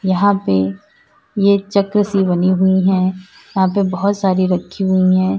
यहां पे ये चक्र सी बनी हुई हैं यहां पे बहुत सारी रखी हुई हैं।